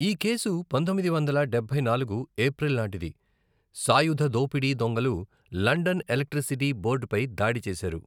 ఈ కేసు పంతొమ్మిది వందల డబ్బై నాలుగు ఏప్రిల్ నాటిది, సాయుధ దోపిడీ దొంగలు లండన్ ఎలక్ట్రిసిటీ బోర్డుపై దాడి చేశారు.